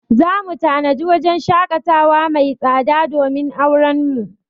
Za mu tanadi wajen shaƙatawa mai tsada domin auren mu.